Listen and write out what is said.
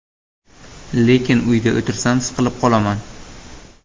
Lekin uyda o‘tirsam siqilib qolaman.